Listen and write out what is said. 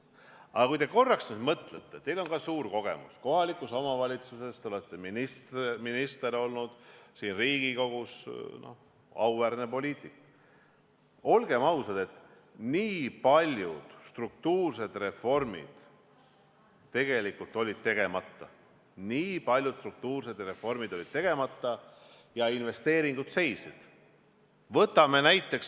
Aga kui te korraks mõtlete , siis olgem ausad, nii paljud struktuursed reformid tegelikult olid tegemata ja investeeringud seisid.